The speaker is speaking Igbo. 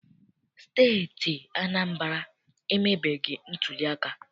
Steeti Anambra emebeghị ntuliaka.